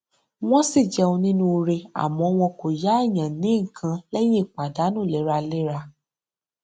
wọn ṣì jẹ onínúure àmọ wọn kò yá èèyàn ní nǹkan lẹyìn pàdánù léraléra